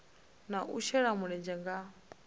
na u shela mulenzhe nga